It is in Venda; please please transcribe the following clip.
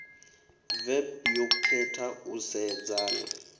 vep yo khetha u sedzana